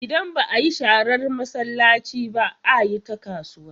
Idan ba a yi sharar masallaci ba, a yi ta kasuwa.